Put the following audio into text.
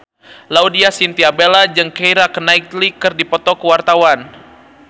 Laudya Chintya Bella jeung Keira Knightley keur dipoto ku wartawan